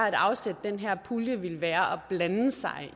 at afsætte den her pulje ville være at blande sig